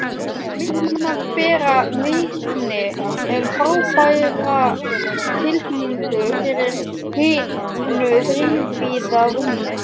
Myndirnar bera vitni um frábæra tilfinningu fyrir hinu þrívíða rúmi.